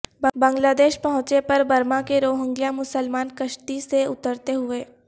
بنگلہ دیش پہنچے پر برما کے روہنگیا مسلمان کشتی سے اترتے ہوئے